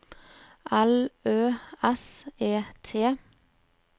L Ø S E T